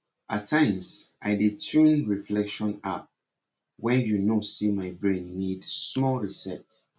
atimes i dey tune reflection app when you know say my brain need small reset